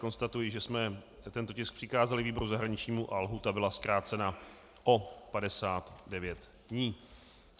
Konstatuji, že jsme tento tisk přikázali výboru zahraničnímu a lhůta byla zkrácena o 59 dní.